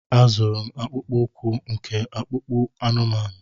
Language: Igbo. A zụrụ m akpụkpọ ụkwụ nke akpụkpọ anụmanụ.